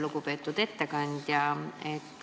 Lugupeetud ettekandja!